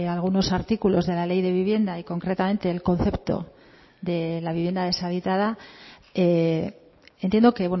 algunos artículos de la ley de vivienda y concretamente el concepto de la vivienda deshabitada entiendo que